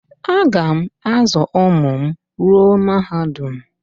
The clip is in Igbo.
Aga m azụ ụmụ m ruo mahadum